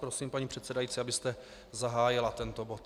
Prosím, paní předsedající, abyste zahájila tento bod.